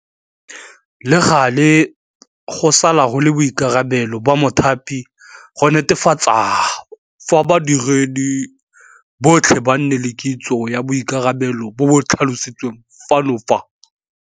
Le gale, go sala go le boikarabelo ba mothapi go netefatsa gore badiredi botlhe ba nne le kitso ya boikarabelo bo bo tlhalositsweng fa godimo fa.